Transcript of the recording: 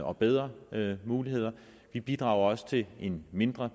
og bedre muligheder vi bidrager også til en mindre